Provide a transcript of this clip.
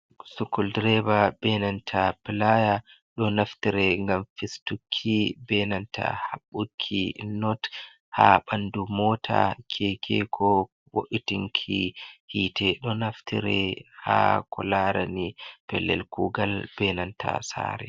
Sukuldireba be nanta pilaya, ɗo naftire ngam fistukki, be nanta haɓɓuki not haa ɓandu mota, keke, ko bo’itinki hite, do naftire haa kularani pellel kugal benanta sare.